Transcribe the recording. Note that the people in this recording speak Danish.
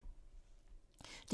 DR1